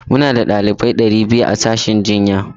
Muna da ɗalibai ɗari biyu a sashen aikin jinya.